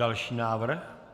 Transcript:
Další návrh.